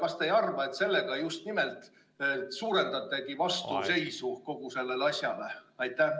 Kas te ei arva, et sellega te just nimelt suurendategi vastuseisu kogu sellele asjale?